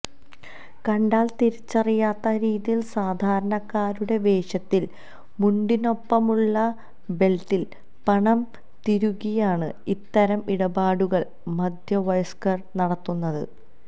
കണ്ടാല് തിരിച്ചറിയാത്ത രീതിയില് സാധാരണക്കാരുടെ വേഷത്തില് മുണ്ടിനൊപ്പമുള്ള ബെല്ട്ടില് പണം തിരുകിയാണ് ഇത്തരം ഇടപാടുകള് മധ്യവയസ്ക്കര് നടത്തുന്നത്